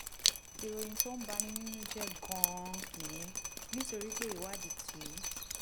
ìròyìn tó ń bani nínú jẹ́ gan-an nìyẹn nítorí pé ìwádìí ti